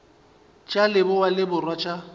tša leboa le borwa tša